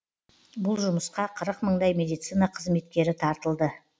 бұл жұмысқа қырық мыңдай медицина қызметкері тартылды